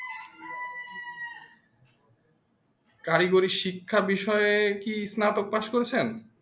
কারিগরি শিক্ষা বিষয়ে কি স্নাতক পাস করেছেন?